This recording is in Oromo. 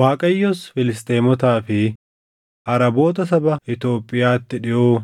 Waaqayyos Filisxeemotaa fi Araboota saba Itoophiyaatti dhiʼoo